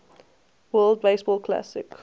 world baseball classic